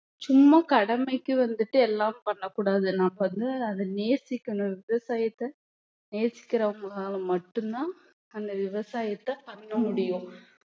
சும்மா கடமைக்கு வந்துட்டு எல்லாம் பண்ணக் கூடாது நாம வந்து அதை நேசிக்கணும் விவசாயத்தை நேசிக்கிறவங்கனால மட்டும்தான் அந்த விவசாயத்தை பண்ண முடியும்